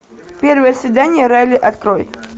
первое свидание райли открой